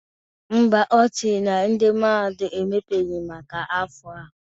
Ḿbà, Ọ sịrị na ndị mahadum emepebeghi maka afọ a.